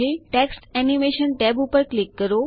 text animation tab ઉપર click કરો